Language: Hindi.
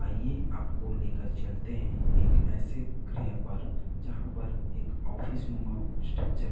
आइए आपको लेकर चलते हैं एक ऐसे ग्रह पर जहां पर एक ऑफिस नुमा स्ट्रक्चर --